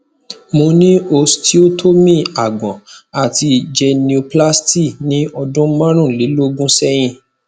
mo ni osteotomy agbọn ati genioplasty ni ọdun marunlelogun sẹyin